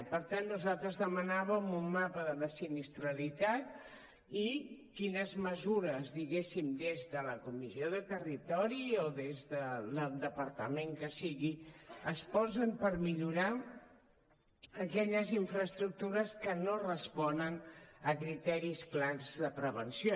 i per tant nosaltres demanàvem un mapa de la sinistralitat i quines mesures diguéssim des de la comissió de territori o des del departament que sigui es posen per millorar aquelles infraestructures que no responen a criteris clars de prevenció